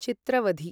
चित्रवथि